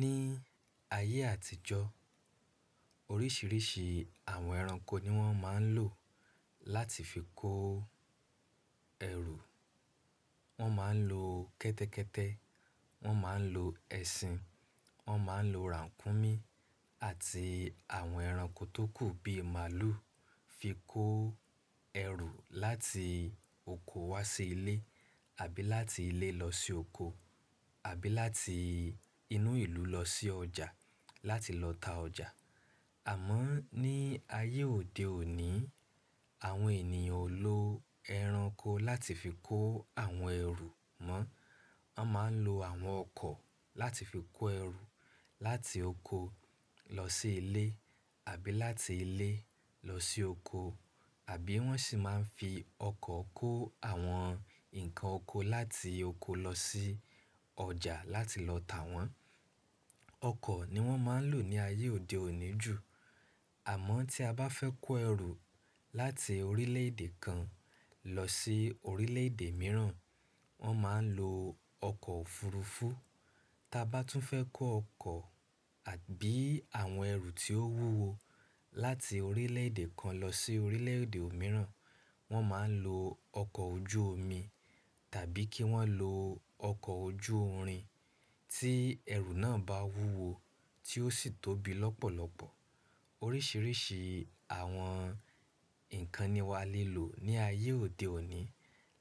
Ní ayé àtijọ́ oríṣiríṣi àwọn ẹranko ni wọ́n máa ń lò láti fi kó ẹrù. Wọ́n máa ń lo kẹ́tẹ́kẹ́tẹ́, wọ́n máa ń lo ẹṣin, wọ́n máa ń lo ràǹkúnmí àti àwọn ẹranko tókù bíi màlúù fi kó ẹrù láti oko wá sí ilé àbí láti ilé lọ sí oko àbí láti inú ìlú lọ sí ọjà láti lọ ta ọjà. Àmọ́ ní ayé òde òní, àwọn ènìyàn ò lo ẹranko láti fi kó àwọn ẹrù mọ́. Wọ́n máa ń lo àwọn ọkọ̀ láti fi kó ẹrù láti oko lọ sí ilé àbí láti ilé lọ sí oko. Àbí wọ́n sì máa ń fi ọkọ̀ kó àwọn ǹkan oko láti oko lọ sí ọjà láti lọ tà wọ́n. Ọkọ̀ ni wọ́n máa ń lò ní ayé òde òní jù. Àmọ́ tí a bá fẹ́ kó ẹrù láti orílẹ̀ èdè kan lọ sí orílẹ̀ èdè mìíràn, wọ́n máa ń lo ọkọ̀ òfurufú. Ta bá tún fẹ́ kó ọkọ̀ àbí àwọn ẹrù tí ó wúwo láti orílẹ̀ èdè kan lọ sí orílẹ̀ èdè mìíràn, wọ́n máa ń lo ọkọ̀ ojú omi tàbí kí wọ́n lo ọkọ̀ ojú irin tí ẹrù náà bá wúwo tí ó sì tóbi lọ́pọ̀lọ́pọ̀. Oríṣiríṣi àwọn ǹkan ni wà á lè lò ní ayé òde òní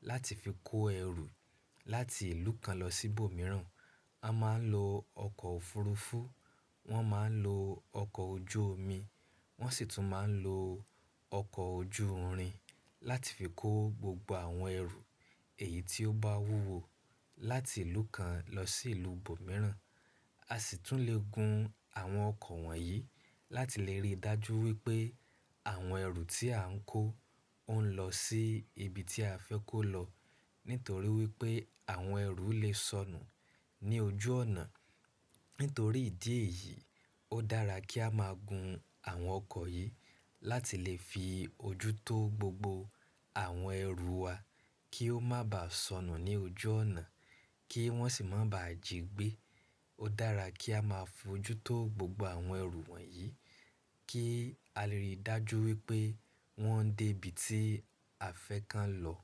láti fi kó ẹrù láti ìlú kan lọ sí ibòmíràn. A máa ń lo ọkọ̀ òfurufú, wọ́n máa ń lo ọkọ̀ ojú omi, wọ́n sì tún máa ń lo ọkọ̀ ojú irin láti fi kó gbogbo àwọn ẹrù èyí tí ó bá wúwo láti ìlú kan lọ sí ìlú ibòmíràn. A sì tún lè gun àwọn ọkọ̀ wọ̀nyí láti lè rí dájú wípé àwọn ẹrù tí à ń kó ó ń lọ sí ibi tí a fẹ́ kó lọ. Nítorí wípé àwọn ẹrù lè sọnù ní ojú ọ̀nà. Nítorí ìdí èyí, ó dára kí a máa gun àwọn ọkọ̀ yìí láti lè fi ojú tó gbogbo àwọn ẹrù wa kí ó má bá sọnù ní ojú ọ̀nà kí wọ́n sì má bá jigbe. Ó dára kí a má fojú tó gbogbo àwọn ẹrù wọ̀nyí kí a lè rí dájú wípé wọ́n dé ibi tí a fẹ́ ka lọ.